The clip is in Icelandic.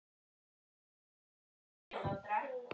Hann sat á hennar rúmi!